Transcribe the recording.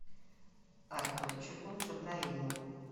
артурчику джабраилову